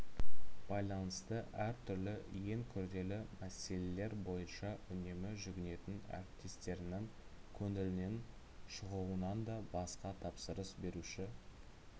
байланысты әр түрлі ең күрделі мәселелер бойынша үнемі жүгінетін әріптестерінің көңілінен шығуынанда басқа тапсырыс беруші